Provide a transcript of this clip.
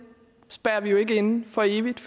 spærrer vi jo ikke inde for evigt